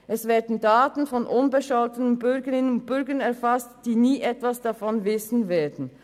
Es werden Daten von unbescholtenen Bürgerinnen und Bürgern erfasst, die davon nie etwas erfahren werden.